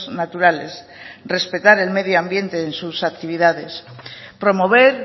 naturales respetar el medio ambiente en sus actividades promover